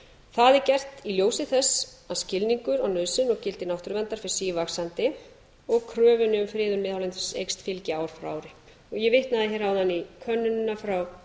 það er gert í ljósi þess að skilningur á nauðsyn og gildi náttúruverndar fer sívaxandi og kröfunni um friðun miðhálendis eykst gildi ár frá ári ég vitnaði